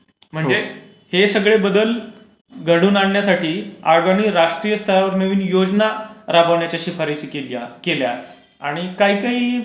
म्हणजे हे सगळे बदल घडून आणण्यासाठी voice not clear राष्ट्रीय स्तरावर नवीन योजना राबवण्याच्या शिफारशी केल्या आणि काही काही